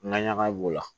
N ka ɲaga b'o la